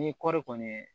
Ni kɔɔri kɔni ye